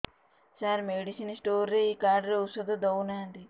ସାର medicine store ରେ ଏଇ card ରେ ଔଷଧ ଦଉନାହାନ୍ତି